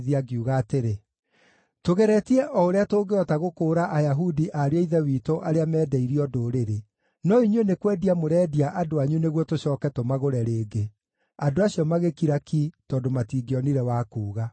ngiuga atĩrĩ, “Tũgeretie o ũrĩa tũngĩhota gũkũũra Ayahudi ariũ a ithe witũ arĩa mendeirio ndũrĩrĩ. No inyuĩ nĩ kwendia mũrendia andũ anyu nĩguo tũcooke tũmagũre rĩngĩ!” Andũ acio magĩkira ki tondũ matingĩonire wa kuuga.